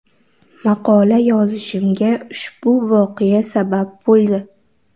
Maqola yozishimga ushbu voqea sabab bo‘ldi.